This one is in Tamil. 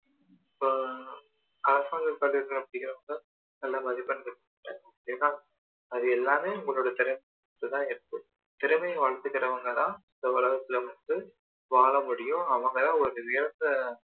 இப்போ அரசாங்க பள்ளில படிக்கிறவங்க நல்ல மதிப்பெண் எடுக்கிறாங்க ஏன்னா அது எல்லாமே உங்களோட திறமையில தான் இருக்கு திறமை வளர்த்துக்கிறவங்க தான் இந்த உலகத்துல வந்து வாழ முடியும் அவங்க தான் ஒரு உயர்ந்த